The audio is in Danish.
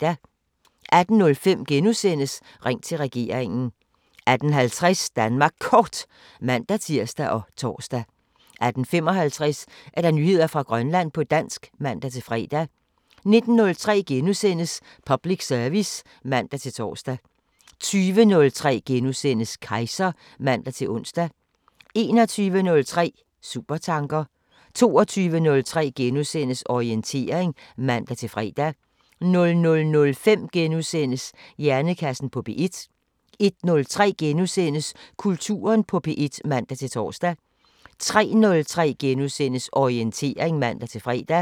18:05: Ring til regeringen * 18:50: Danmark Kort (man-tir og tor) 18:55: Nyheder fra Grønland på dansk (man-fre) 19:03: Public service *(man-tor) 20:03: Kejser *(man-ons) 21:03: Supertanker 22:03: Orientering *(man-fre) 00:05: Hjernekassen på P1 * 01:03: Kulturen på P1 *(man-tor) 03:03: Orientering *(man-fre)